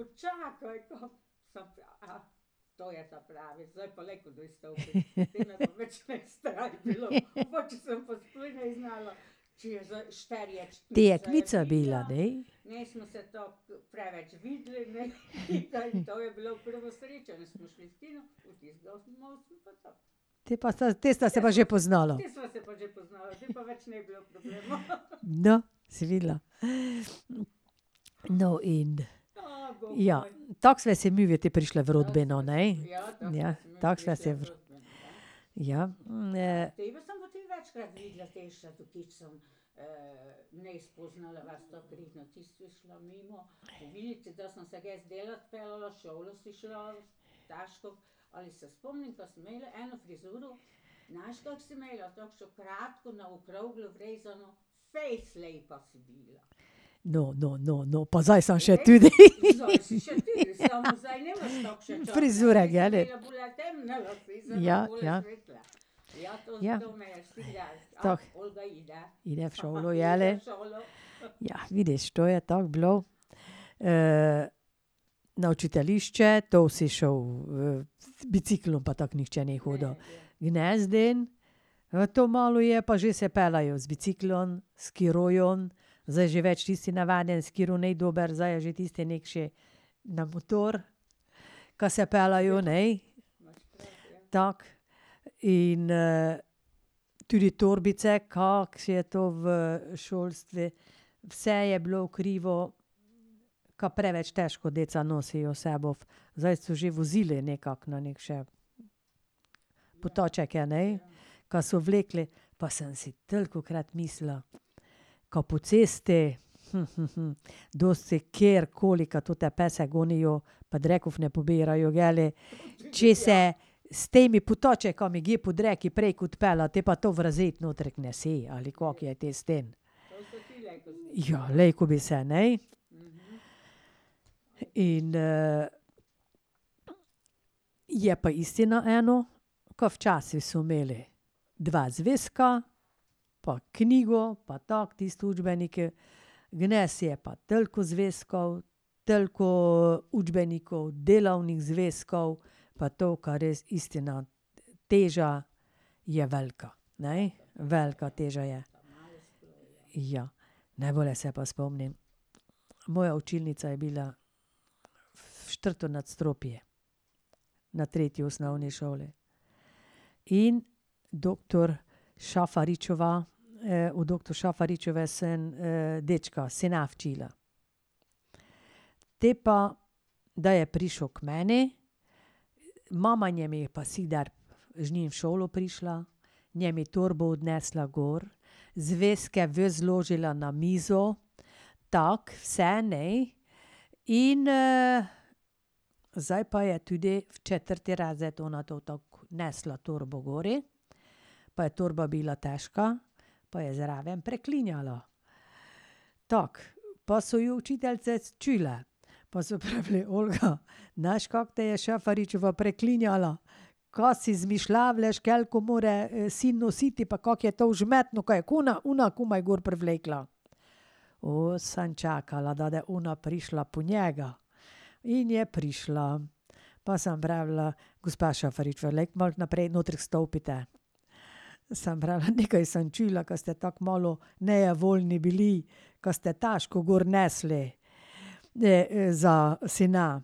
je bila, ne? Te pa sta, te sta se pa že poznala. No, si videla. No, in ... Ja. Tako sva si midve te prišli v rodbino, ne? Ja. Tako sva si v ... Ja, No, no, no, no, pa zdaj sem še tudi! Frizure, jeli? Ja, ja. Ja. Tako. Gre v šolo, jeli? Ja, vidiš, to je tako bilo. na učiteljišče, to si šel v ... v biciklom pa tako nihče ni hodil. Danes dan, to malo je pa že, se peljejo z biciklom, skirojem, zdaj že več tisti navadni skiro ni dober, zdaj je že tisti nekši na motor, ka se peljejo, ne. Tako. In tudi torbice, kako je to v šolstvu, vse je bilo v krivo, ka preveč težko deca nosijo vse bof. Zdaj so že vozili nekako na neke putačeke, ne. Kaj so vlekli pa sem si tolikokrat mislila, kaj po cesti dosti kjerkoli, kaj ta pesem gonijo pa drekov ne pobirajo, kje li, če se s temi potački kje po dreku prek odpelje, te pa to v razredu notrek nese, ali kako je te s tem. Ja, glej, ko bi se ne. In ... je pa istina eno, ka včasih so imeli dva zvezka pa knjigo pa tako tisti učbeniki. Danes je pa toliko zvezkov, toliko učbenikov, delovnih zvezkov, pa to kaj res teža je velika, ne. Velika teža je. Ja. Najbolje se pa spomnim, moja učilnica je bila v četrto nadstropje, na tretji osnovni šoli. In doktor Šafaričeva, od doktor Šafaričeve sem dečka se naučila. Te pa, da je prišel k meni, mama z njim v šolo prišla, njemu torbo odnesla gor, zvezke ven zložila na mizo, tako vse, ne. In zdaj pa je tudi v četrti razred ona to tako nesla torbo gori pa je torba bila težka pa je zraven preklinjala. Tako, pa so jo učiteljice čule, pa so pravili: "Olga, znaš, kako te je Šafaričeva preklinjala?" Ka si izmišljuješ, koliko more sin nositi pa kako je to vžmetno, kaj je kuna, ona komaj gor privlekla. sem čakala, da da ona prišla po njega. In je prišla. Pa sem pravila: "Gospa Šafaričeva, malo naprej noter stopite?" Sem pravila: "Nekaj sem čula, ka ste tako malo nejevoljni bili, ka ste težko gor nesli za sina."